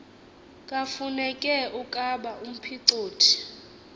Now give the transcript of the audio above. kafuneke ukaba umphicothi